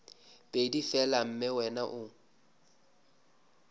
pedi fela mme wena o